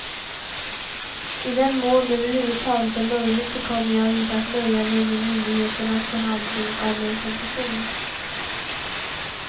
I den mån det över huvud taget är möjligt så kommer jag inte att nöja mig med myndigheternas behandling av mig som person.